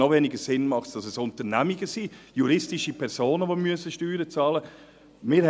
Noch weniger Sinn ergibt es, dass es Unternehmen sind, juristische Personen, die diese Steuern bezahlen müssen.